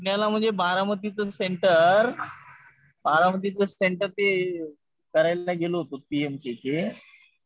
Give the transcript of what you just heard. पुण्याला म्हणजे बारामतीचे सेंटर, बारामतीचे सेंटर ते करायला गेलो होतो चे.